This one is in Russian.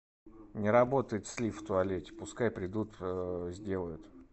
не работает слив в туалете пускай придут сделают